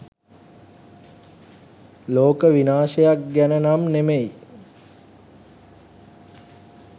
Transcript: ලෝක විනාශයක් ගැන නම් නෙමෙයි.